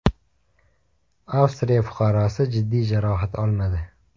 Avstriya fuqarosi jiddiy jarohat olmadi.